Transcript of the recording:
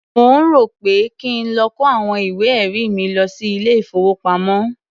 Mò ń rò ó pé kí n lọ kó àwọn ìwé-ẹ̀rí mi lọ sí ilé-ìfowópamọ́.